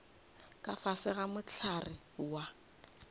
ka fase ga mohlare wa